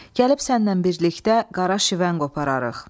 Gəlib sənlə birlikdə qara şivən qopararıq.